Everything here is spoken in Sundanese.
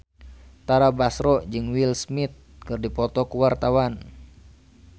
Tara Basro jeung Will Smith keur dipoto ku wartawan